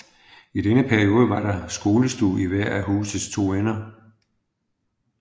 I denne periode var der skolestue i hver af husets to ender